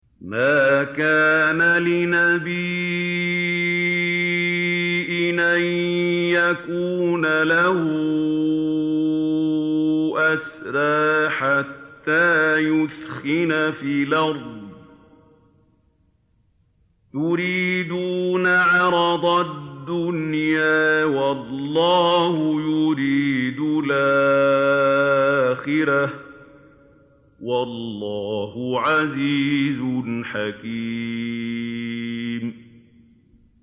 مَا كَانَ لِنَبِيٍّ أَن يَكُونَ لَهُ أَسْرَىٰ حَتَّىٰ يُثْخِنَ فِي الْأَرْضِ ۚ تُرِيدُونَ عَرَضَ الدُّنْيَا وَاللَّهُ يُرِيدُ الْآخِرَةَ ۗ وَاللَّهُ عَزِيزٌ حَكِيمٌ